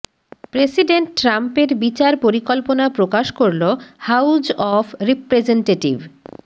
president ট্রাম্পের বিচার পরিকল্পনা প্রকাশ করলো হাউজ অফ রিপ্রেজেনটেটিভ